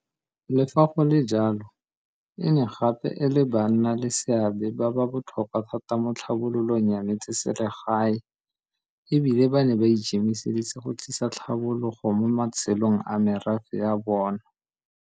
Le fa go le jalo, e ne gape e le banna le seabe ba ba botlhokwa thata mo tlhabololong ya metseselegae, e bile ba ne ba ikemiseditse go tlisa tlhabologo mo matshelong a merafe ya bona.